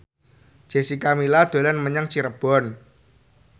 Jessica Milla dolan menyang Cirebon